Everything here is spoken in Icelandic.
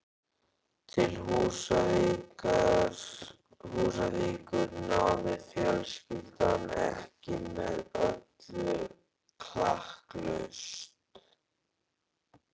Til Húsavíkur náði fjölskyldan ekki með öllu klakklaust.